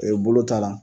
Ee bolo ta la